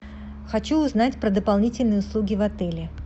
хочу узнать про дополнительные услуги в отеле